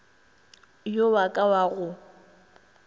yo wa ka wa go